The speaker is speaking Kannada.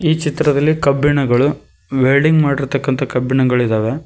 ಈ ಚಿತ್ರದಲ್ಲಿ ಕಬ್ಬಿಣಗಳು ವೆಲ್ಡಿಂಗ್ ಮಾಡಿರ್ತಕ್ಕಂತ ಕಬ್ಬಿಣಗಳಿದಾವೆ.